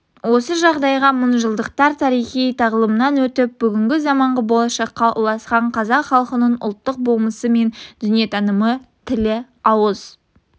осы жағдайда мың жылдықтар тарихи тағылымнан өтіп бүгінгі заманғы болашаққа ұласқан қазақ халқының ұлттық болмысы мен дүниетанымы тілі ауыз